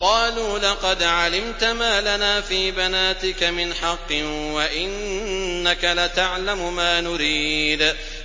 قَالُوا لَقَدْ عَلِمْتَ مَا لَنَا فِي بَنَاتِكَ مِنْ حَقٍّ وَإِنَّكَ لَتَعْلَمُ مَا نُرِيدُ